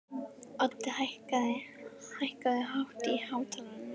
Oddi, hækkaðu í hátalaranum.